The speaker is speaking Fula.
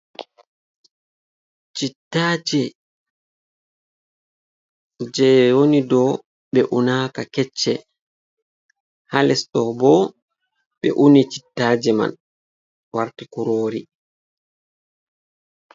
"Chittaje" je woni dou ɓe unaka kecce ha les ɗo bo ɓe uni cittaje man warti kurori.